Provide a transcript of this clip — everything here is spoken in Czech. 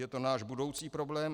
Je to náš budoucí problém.